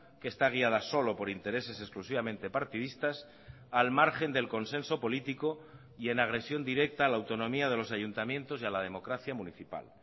que está guiada solo por intereses exclusivamente partidistas al margen del consenso político y en agresión directa a la autonomía de los ayuntamientos y a la democracia municipal